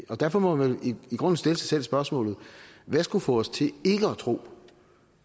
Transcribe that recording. derfor må man i grunden stille sig selv spørgsmålet hvad skulle få os til ikke at tro